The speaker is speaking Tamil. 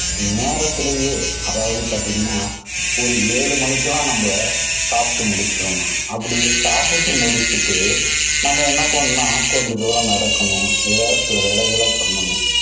நேரத்திலேயே அதாவது பாத்தீங்கன்னா, ஒரு ஏழு மணிக்கு எல்லாம் நம்ம சாப்பிட்டு முடிச்சுடனும். அப்படி சாப்பிட்டு முடிச்சுட்டு நம்ம என்ன பண்ணணும்னா, கொஞ்ச தூரம் நடக்கணும் வேற சில வேலைகளை பண்ணனும்.